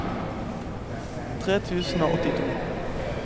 tre tusen og åttito